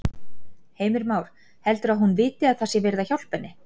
Heimir Már: Heldurðu að hún viti að það sé verið að hjálpa henni?